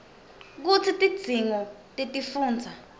kutsi tidzingo tetifundza